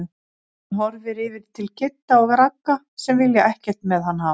Hann horfir yfir til Kidda og Ragga sem vilja ekkert með hann hafa.